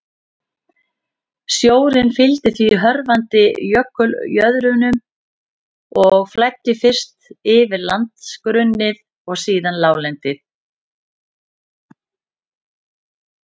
Sjórinn fylgdi því hörfandi jökuljöðrunum og flæddi fyrst yfir landgrunnið og síðan láglendið.